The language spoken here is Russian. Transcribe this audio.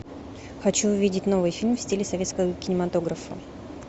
хочу увидеть новый фильм в стиле советского кинематографа